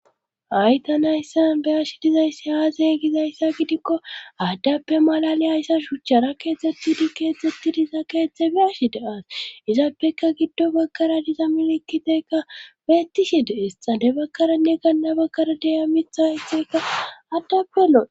Hay tani hayssan be'ashe dizayssi aaze gizayssa gidikko adappe malaliyiyayssa shuchchappe keexxetidi diza keeththa be'ashe de'ays. izapekka gido bagara diza milkiteeka beetishe de'es. xade bagarann ganna bagara diya mithay hathaykka adappe lo'ees.